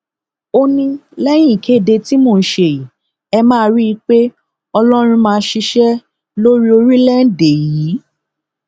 ó ní lẹyìn ìkéde tí mò ń ṣe yìí ẹ máa rí i pé ọlọrun máa ṣiṣẹ lórí orílẹèdè yìí